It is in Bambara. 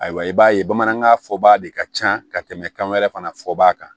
Ayiwa i b'a ye bamanankan fɔba de ka ca ka tɛmɛ kan wɛrɛ fana fɔba kan